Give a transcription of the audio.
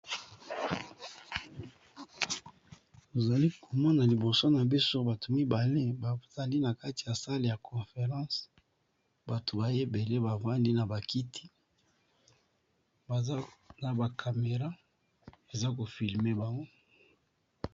Ozali komona liboso na biso, bato mibale bazali na kati ya sale ya conference. Bato baye bele, bavandi na bakiti, na ba kamera eza kofilme bango.